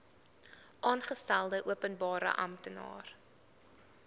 aangestelde openbare amptenaar